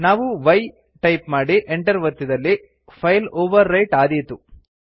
ನಾವು y type ಮಾಡಿ enter ಒತ್ತಿದಲ್ಲಿ ಫೈಲ್ ಓವರ್ ರೈಟ್ ಆದೀತು